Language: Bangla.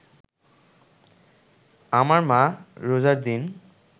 আমার মা রোজার দিন